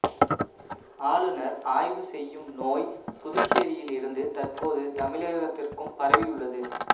ஆளுநர் ஆய்வு செய்யும் நோய் புதுச்சேரியில் இருந்து தற்போது தமிழகத்திற்கும் பரவி உள்ளது